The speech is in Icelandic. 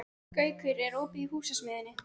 Gaukur, er opið í Húsasmiðjunni?